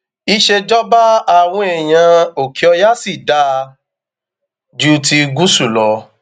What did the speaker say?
ìṣèjọba àwọn èèyàn òkèọyà sì dáa ju ti gúúsù lọ